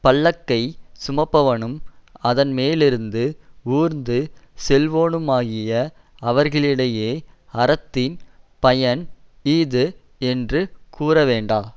பல்லக்கை சுமப்பவனும் அதன்மேலிருந்து ஊர்ந்து செல்லுவோனுமாகிய அவர்களிடையே அறத்தின் பயன் இஃது என்று கூறவேண்டா